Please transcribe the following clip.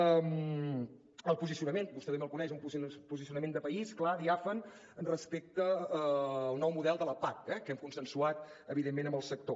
el posicionament vostè també el coneix un posicionament de país clar diàfan respecte al nou model de la pac eh que hem consensuat evidentment amb el sector